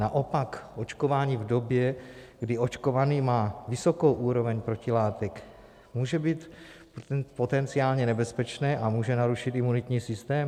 Naopak očkování v době, kdy očkovaný má vysokou úroveň protilátek, může být potenciálně nebezpečné a může narušit imunitní systém?